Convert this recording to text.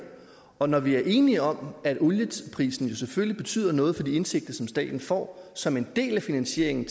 og når vi er enige om at olieprisen jo selvfølgelig betyder noget for de indtægter som staten får som en del af finansieringen